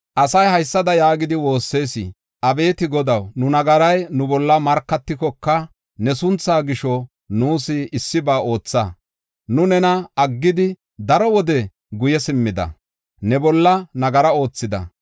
Asay haysada yaagidi woossis: “Abeeti Godaw, nu nagaray nu bolla markatikoka, ne sunthaa gisho, nuus issiba ootha. Nu nena aggidi daro wode guye simmida; ne bolla nagara oothida.